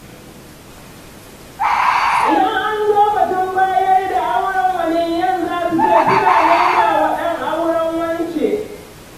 Idan an zo batun bayar da aure waliyan za su ce suna neman wa ɗan auren wance.